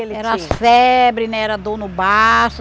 Era febre né, era dor no baço.